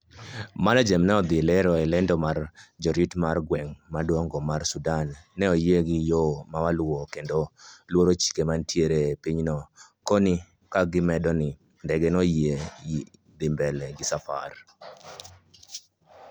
MANAGEM ne odhi lero e lendo mare ni jorit mar gweng maduong mar Sudan neoyie gi yoo mawaluo kendo luoro chike manitie e pinyno koni kagimedo ni ndege no oyiene dhi mbele gi safar